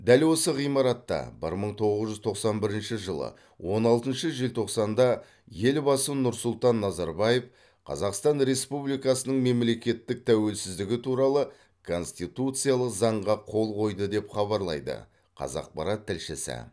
дәл осы ғимаратта бір мың тоғыз жүз тоқсан бірінші жылы он алтыншы желтоқсанда елбасы нұрсұлтан назарбаев қазақстан республикасының мемлекеттік тәуелсіздігі туралы конституциялық заңға қол қойды деп хабарлайды қазақпарат тілшісі